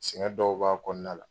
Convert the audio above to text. Tiɲɛ dɔw b'a kɔnɔna la